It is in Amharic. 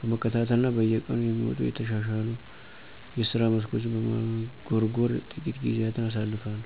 በመከታተል እና በየቀኑ የሚወጡ የተሻሉ የስራ መስኮችን በመጎርጎር ትቂት ጊዜያትን አሳልፋለሁ።